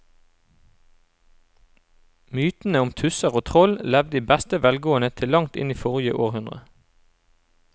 Mytene om tusser og troll levde i beste velgående til langt inn i forrige århundre.